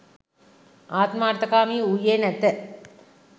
ආත්මාර්ථකාමී වූයේ නැත.